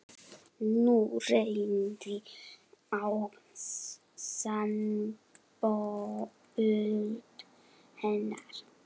Nú reyndi á sambönd hennar.